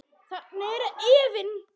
Þarna er efinn.